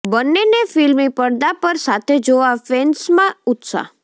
બંનેને ફિલ્મી પડદા પર સાથે જોવા ફેન્સમાં ઉત્સાહ